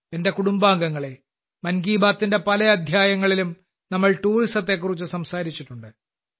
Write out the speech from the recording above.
എന്റെ കുടുംബാംഗങ്ങളെ മൻ കി ബാത്തിന്റെ പല അധ്യായങ്ങളിലും നമ്മൾ ടൂറിസത്തെകുറിച്ച് സംസാരിച്ചിട്ടുണ്ട്